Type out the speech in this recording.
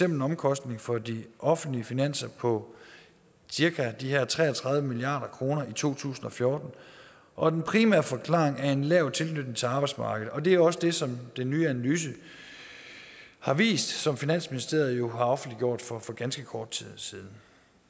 en omkostning for de offentlige finanser på cirka de her tre og tredive milliard kroner i to tusind og fjorten og den primære forklaring er en lav tilknytning til arbejdsmarkedet det er jo også det som den nye analyse har vist som finansministeriet har offentliggjort for for ganske kort tid siden